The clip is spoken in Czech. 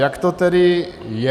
Jak to tedy je?